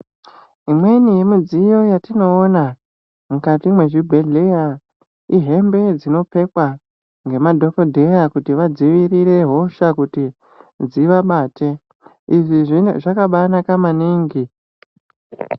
Imweni yemidziyo yatinoona mukati mwezvibhedhleya. Ihembe dzinopfekwa ngemadhogodheya kuti vadzivirire hosha kuti dzivabate izvi zvakabanaka maningi.